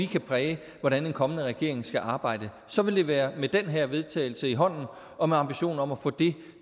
kan præge hvordan en kommende regering skal arbejde så vil det være med den her vedtagelse i hånden og med ambitionen om at få det